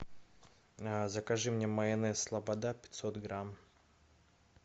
закажи мне майонез слобода пятьсот грамм